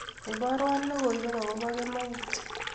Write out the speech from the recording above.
iborwan logoiwek akobo kienut